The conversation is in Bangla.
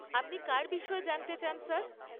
আপনি কার বিষয়ে জানতে চান, স্যার?